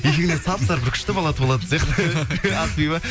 екеуіңізден сап сары бір күшті бала туылатын сияқты ақбибі